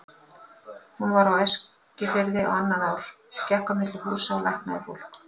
Hún var á Eskifirði á annað ár, gekk á milli húsa og læknaði fólk.